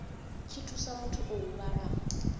tshi thusa muthu o huvhalaho